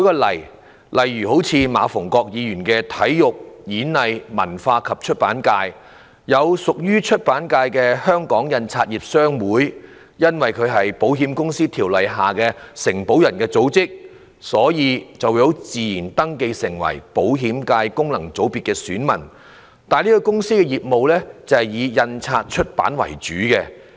例如，馬逢國議員的體育、演藝、文化及出版界，屬於出版界的香港印刷業商會因為是《保險業條例》下的承保人組織，所以自動登記為保險界功能界別的選民，但該公司的業務以印刷出版為主。